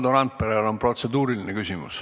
Valdo Randperel on protseduuriline küsimus.